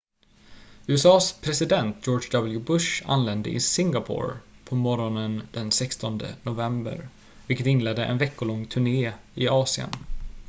usa:s president george w bush anlände i singapore på morgonen den 16 november vilket inledde en veckolång turné i asien